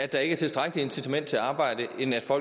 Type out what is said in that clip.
arbejde